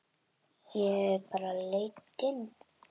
Ég bara leit inn.